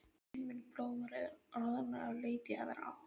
Emil blóðroðnaði og leit í aðra átt.